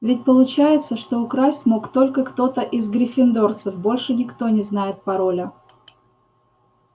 ведь получается что украсть мог только кто-то из гриффиндорцев больше никто не знает пароля